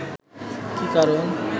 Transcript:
কী কারণ